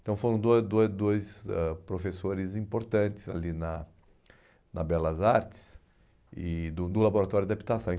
Então, foram dua dua dois ãh professores importantes ali na na Belas Artes e do do Laboratório de habitação.